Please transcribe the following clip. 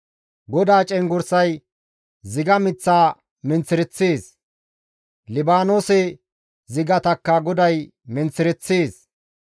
GODAA cenggurssay ziga miththa menththereththees; Libaanoose zigatakka GODAY menththereththees.